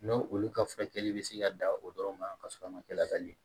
N'o olu ka furakɛli bɛ se ka dan o dɔrɔn ma ka sɔrɔ a ma kɛ la ka ɲɛ